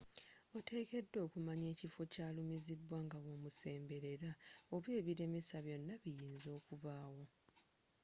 oteekedwa okumanya ekifo kyalumizidwa ngabwomusemberera oba ebilemesa byonna ebiyinza okubaawo